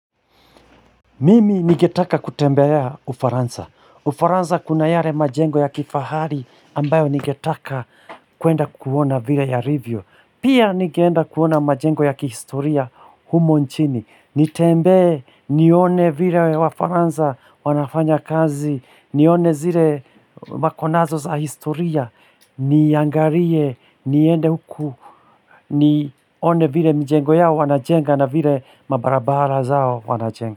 Mimi ningetaka kutembelea Ufaransa. Ufaransa kuna yare majengo ya kifahari ambayo ningetaka kuenda kuona vile yarivyo. Pia ningenda kuona majengo ya kihistoria humo nchini. Nitembee, nione vile wafaransa wanafanya kazi, nione zile makonazo za historia, niangarie, niende huku, nione vile mijengo yao wanajenga na vile mabarabara zao wanajenga.